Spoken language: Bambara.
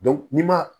ni ma